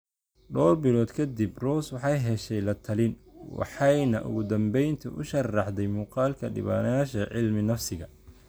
Dhowr bilood ka dib, Rose waxay heshay la-talin, waxayna ugu dambeyntii u sharraxday muuqaalka dhibbanayaasha cilmi-nafsiga.